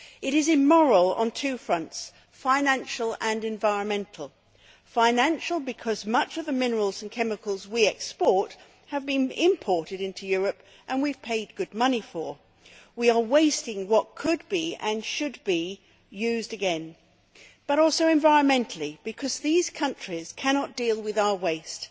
It is immoral on two fronts, financial and environmental financial because much of the minerals and chemicals we export have been imported into Europe and we have paid good money for them we are wasting what could and should be used again but also environmental because these countries cannot deal with our waste.